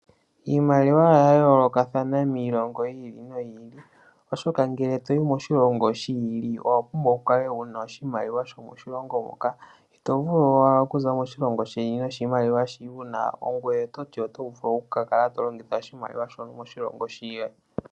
Iimaliwa oya yoolokathana miilongo yi ili noyi ili, oshoka ngele toyi moshilongo shi ili owa pumbwa oku kala wuna oshimaliwa shomoshilongo hoka. Ito vulu owala okuza moshilongo sheni noshimaliwa shi wuna ngoye ototi oto vulu oku ka kala to longitha oshimaliwa shono moshilongo shiya.